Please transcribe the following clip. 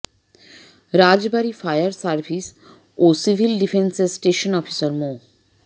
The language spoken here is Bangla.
রাজবাড়ী ফায়ার সাভিস ও সিভিল ডিফেন্সের স্টেশন অফিসার মো